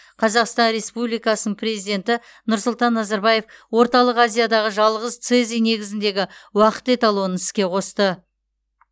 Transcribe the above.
қазақстан республикасын президенті нұрсұлтан назарбаев орталық азиядағы жалғыз цезий негізіндегі уақыт эталонын іске қосты